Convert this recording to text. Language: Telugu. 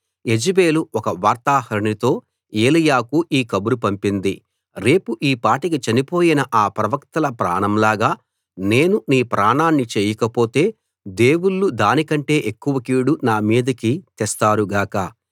యెజెబెలు ఒక వార్తాహరునితో ఏలీయాకు ఈ కబురు పంపింది రేపు ఈ పాటికి చనిపోయిన ఆ ప్రవక్తల ప్రాణం లాగా నేను నీ ప్రాణాన్ని చేయకపోతే దేవుళ్ళు దాని కంటే ఎక్కువ కీడు నా మీదికి తెస్తారు గాక